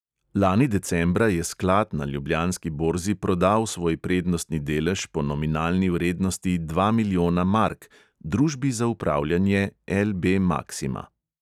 Lani decembra je sklad na ljubljanski borzi prodal svoj prednostni delež po nominalni vrednosti dva milijona mark družbi za upravljanje LB maksima.